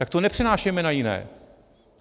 Tak to nepřenášejme na jiné.